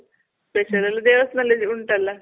special ಎಲ್ಲ ದೇವಸ್ಥಾನದಲ್ ಉಂಟಲ್ಲ?